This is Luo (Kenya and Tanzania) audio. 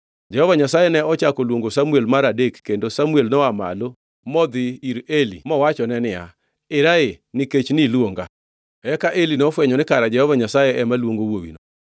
Jehova Nyasaye ne ochako oluongo Samuel mar adek kendo Samuel noa malo modhi ir Eli mowachone niya, “Era ee nikech iluonga.” Eka Eli nofwenyo ni kara Jehova Nyasaye ema, luongo wuowino.